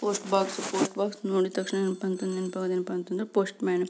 Post box post box ನೋಡಿದ್ದ್ ತಕ್ಷಣ ನೆನಪಂತು ನೆನ್ಪಾಗೋದು ಏನಪ್ಪಾ ಅಂದ್ರೆ ಪೋಷ್ಟ್ ಮ್ಯಾನ್ .